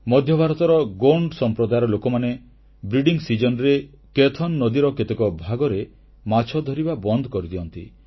ମଧ୍ୟଭାରତର ଗୋଣ୍ଡ ସମ୍ପ୍ରଦାୟର ଲୋକମାନେ ପ୍ରଜନନ ଋତୁରେ କେଥନ୍ ନଦୀର କେତେ ଭାଗରେ ମାଛ ଧରିବା ବନ୍ଦ କରିଦିଅନ୍ତି